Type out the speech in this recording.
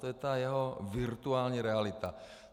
To je ta jeho virtuální realita.